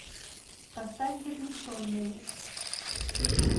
поставь заключенные